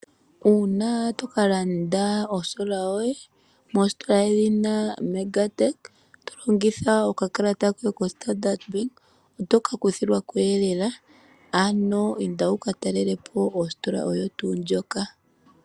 Uuna toka landa o solar yoye, moositola dhedhina MegaTech, tolongitha okakalata koye ko Standard Bank otoka kuthilwako lela. Ano inda wu ka talelepo ositola oyo tuu ndjoka.